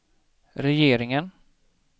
regeringen